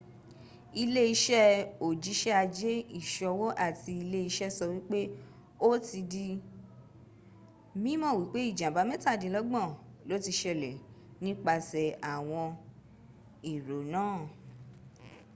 ilé-ìṣe òjisẹ ajé ìṣòwò àti ilé ìṣe sọ wípé o ti di mímọ wípé ìjàmbá mẹ́tàdínlógbọn lo ti ṣẹlẹ̀ nípasẹ̀ àwọn èrò náà